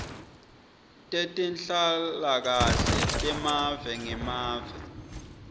tetenhlalakahle temave ngemave